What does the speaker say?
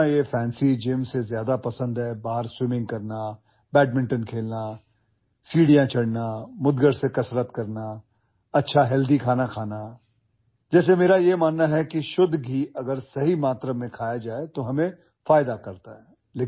مجھے ایک fancy gym سے زیادہ جو چیز پسند ہے، وہ ہے باہر تیراکی کرنا، بیڈمنٹن کھیلنا، سیڑھیاں چڑھنا، مڈگر کلب کی گھنٹی کے ساتھ ورزش کرنا، اچھی صحت مند غذا استعمال کرنا ... جیسا کہ میرا ماننا ہے کہ خالص گھی اگر مناسب مقدار میں کھایا جائے تو ہمارے لیے فائدہ مند ہے